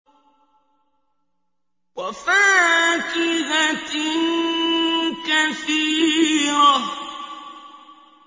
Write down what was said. وَفَاكِهَةٍ كَثِيرَةٍ